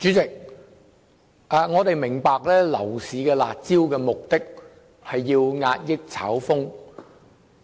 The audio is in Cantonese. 主席，我們明白推出樓市"辣招"旨在遏抑炒風。